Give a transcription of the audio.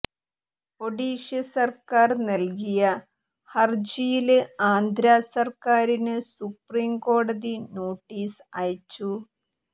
ഒഡീഷ സര്ക്കാര് നല്കിയ ഹര്ജിയില് ആന്ധ്രാ സര്ക്കാരിന് സുപ്രീം കോടതി നോട്ടീസ് അയച്ചു